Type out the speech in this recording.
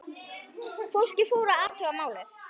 Fólkið fór að athuga málið.